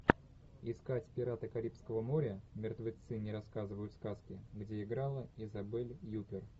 искать пираты карибского моря мертвецы не рассказывают сказки где играла изабель юппер